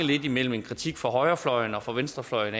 mellem en kritik fra højrefløjen og fra venstrefløjen